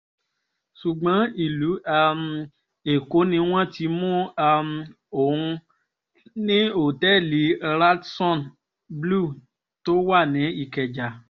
ṣùgbọ́n ìlú um èkó ni wọ́n ti mú um òun ní òtẹ́ẹ̀lì radisson blu tó wà ní ìkẹjà